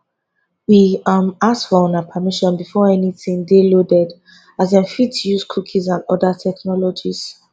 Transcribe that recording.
we um ask for una permission before anytin dey loaded as dem fit dey use cookies and oda technologies